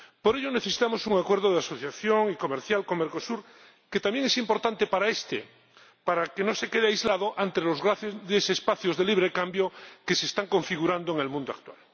Por ello necesitamos un Acuerdo de Asociación Comercial con Mercosur, que también es importante para este, para que no se quede aislado ante los grandes espacios de libre cambio que se están configurando en el mundo actual.